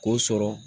K'o sɔrɔ